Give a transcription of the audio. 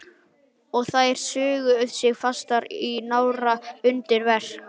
Og þær sugu sig fastar í nára og undir kverk.